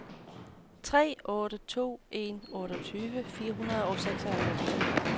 tre otte to en otteogtyve fire hundrede og seksoghalvfems